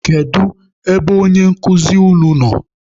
Kedu ebe onye nkụzi unu nọ?